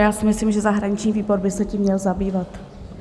Já si myslím, že zahraniční výbor by se tím měl zabývat.